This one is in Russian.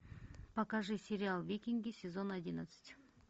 покажи сериал викинги сезон одиннадцать